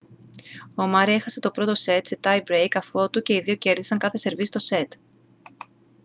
ο μάρεϊ έχασε το πρώτο σετ σε tie break αφότου και οι δύο κέρδισαν κάθε σερβίς στο σετ